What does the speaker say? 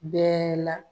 Bɛɛ la